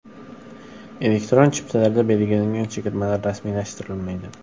Elektron chiptalarda belgilangan chegirmalar rasmiylashtirilmaydi.